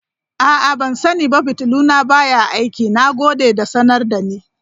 A'a, ban sani ba fitilu na baya aiki, na gode da sanar da ni.